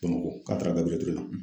Bamako k'a tara Gbiriyɛli Ture la.